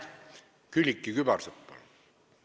Külliki Kübarsepp, palun!